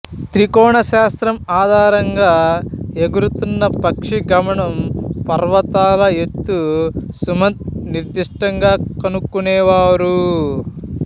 త్రికోణ శాస్త్రం ఆధారంగా ఎగురుతున్న పక్షి గమనం పర్వతాల ఎత్తు సుమంత్ నిర్దిష్టంగా కనుక్కునేవారు